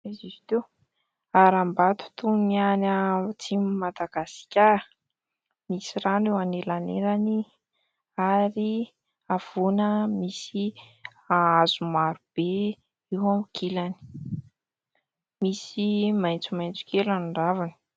Aiza izy teo ? Harambato toy ny any atsimon'i Madagasikara, misy rano eo anelanelany ary havoana misy hazo maro be eo ankilany, misy maitsomaitso kely amin'ny raviny.